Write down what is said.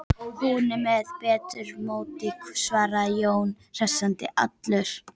Hún er með betra móti, svaraði Jón og hresstist allur.